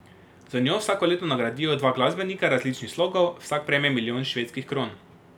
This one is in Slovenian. Z njo vsako leto nagradijo dva glasbenika različnih slogov, vsak prejme milijon švedskih kron.